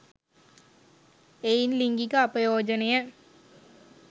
එයින් ලිංගික අපයෝජනය